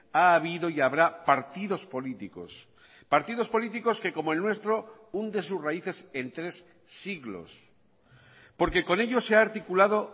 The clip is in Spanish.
ha habido y habrá partidos políticos partidos políticos que como el nuestro hunde sus raíces en tres siglos porque con ello se ha articulado